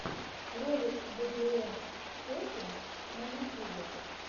ролик бэбилон сетин на ютьюбе